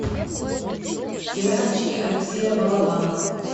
сериальчики алексея балабанова